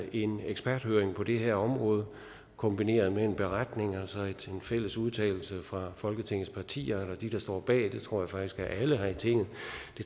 en eksperthøring på det her område kombineret med en beretning og så en fælles udtalelse fra folketingets partier eller de der står bag og det tror jeg faktisk er alle her i tinget